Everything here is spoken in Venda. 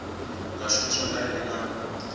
ḽa shumiswa nga nnyi na